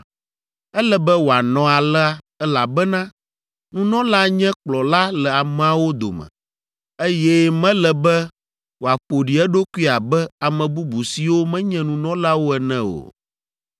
Ele be wòanɔ alea, elabena nunɔla nye kplɔla le ameawo dome, eye mele be wòaƒo ɖi eɖokui abe ame bubu siwo menye nunɔlawo ene o.